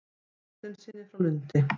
Þorsteinssyni frá Lundi.